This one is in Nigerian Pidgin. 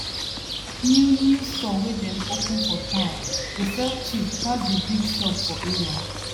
new new store wey dem open for town dey sell cheap pass d big shop for area